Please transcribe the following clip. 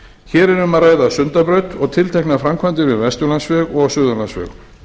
hér er um að ræða sundabraut og tilteknar framkvæmdir við vesturlandsveg og suðurlandsveg